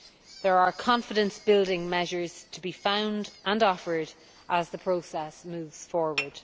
There are confidence building measures to be found and offered as the process moves forward.